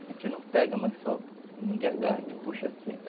A gente não pega, mas só, ninguém agarra, te puxa assim.